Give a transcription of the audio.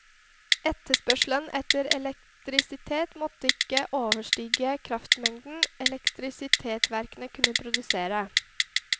Etterspørselen etter elektrisitet måtte ikke overstige kraftmengden elektrisitetsverkene kunne produsere.